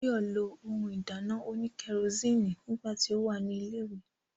Báyọ̀ lo ohun ìdáná òní kẹrosíìnì nígbà tí ó wà ní ilẹ̀ ìwé